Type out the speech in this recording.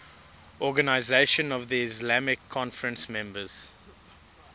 organisation of the islamic conference members